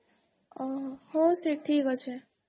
ଅମ୍ଓହୋ ହଉ ସେ ଠିକ୍ ଅଛେ